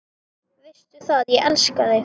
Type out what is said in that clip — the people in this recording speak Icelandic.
Veistu það, ég elska þig.